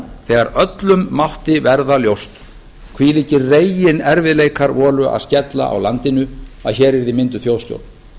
þegar öllum mátti verða ljóst hvílíkir reginerfiðleikar voru að skella á landinu að hér yrði mynduð þjóðstjórn